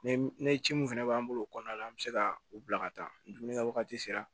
Ne ne ci mun fɛnɛ b'an bolo o kɔnɔna la an bɛ se ka u bila ka taa dumuni kɛ wagati sera